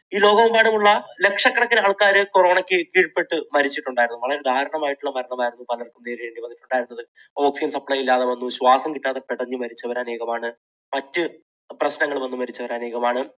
ഈ ലോകമെമ്പാടുമുള്ള ലക്ഷക്കണക്കിന് ആൾക്കാർ corona യ്ക്ക് കീഴ്പ്പെട്ട് മരിച്ചിട്ടുണ്ടായിരുന്നു. വളരെ ദാരുണമായിട്ടുള്ള മരണമായിരുന്നു പലർക്കും നേരിടേണ്ടി വന്നിട്ടുണ്ടായിരുന്നത് oxygen supply ഇല്ലാതെ വന്നു. ശ്വാസം കിട്ടാതെ പിടഞ്ഞു മരിച്ചവർ അനേകമാണ്. മറ്റു പ്രശ്നങ്ങൾ വന്നു മരിച്ചവർ അനേകമാണ്.